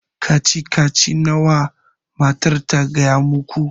Kacici kacici nawa matar ta gaya muku?